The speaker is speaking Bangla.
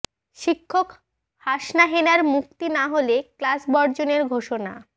শিক্ষক হাসনা হেনার মুক্তি না হলে ক্লাস বর্জনের ঘোষণা